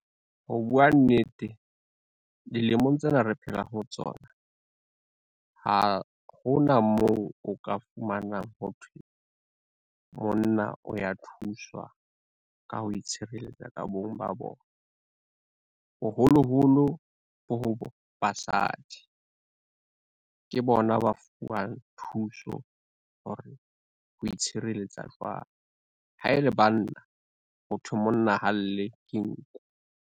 Ho bua nnete, dilemong tsena re phela ho tsona, ha hona moo o ka fumanang ho thwe, monna o ya thuswa ka ho itshireletsa ka bong ba bona. Boholoholo bo ho basadi, ke bona ba fuwang thuso hore o itshireletsa jwang ha ele banna ho thwe monna ha lle ke nku.